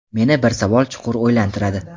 meni bir savol chuqur o‘ylantiradi.